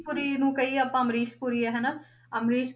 ਪੁਰੀ ਨੂੰ ਕਹੀਏ ਆਪਾਂ ਅਮਰੀਸ ਪੁਰੀ ਹੈ ਹਨਾ ਅਮਰੀਸ